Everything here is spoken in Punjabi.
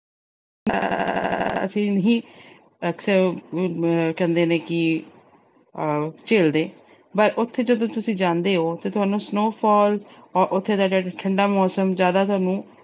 ਅਸੀਂ ਨਹੀਂ, ਅਕਸਰ ਕਹਿੰਦੇ ਨੇ ਕਿ ਆਹ ਝੇਲਦੇ ਪਰ ਉਥੇ ਜਦੋਂ ਤੁਸੀਂ ਜਾਂਦੇ ਓ, ਉਥੇ ਤੁਹਾਨੂੰ snowfall ਉੱਥੇ ਦਾ ਠੰਡਾ ਮੌਸਮ ਜਿਆਦਾ ਤੁਹਾਨੂੰ